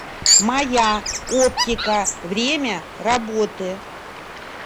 моя оптика время работы